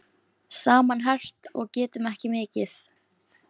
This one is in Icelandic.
Saman herpt og getum ekki mikið.